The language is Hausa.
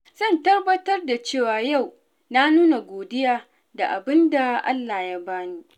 Zan tabbatar da cewa yau na nuna godiya da abin da Allah ya bani.